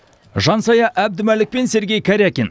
жансая әбдімәлік пен сергей карякин